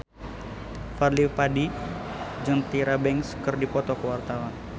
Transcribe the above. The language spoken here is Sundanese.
Fadly Padi jeung Tyra Banks keur dipoto ku wartawan